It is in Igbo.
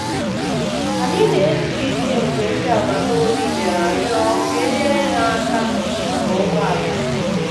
Anyị na-ezu ike mgbe ndị agbataobi bịara rịọ ka e nyere ha aka maka ụgbọala ha.